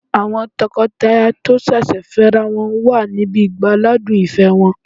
Àwọn tọkọtaya tó sẹ̀sẹ̀ fẹ́ ra wọn wà níbi ìgbáládùn ìfẹ́ wọn